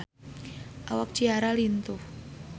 Awak Ciara lintuh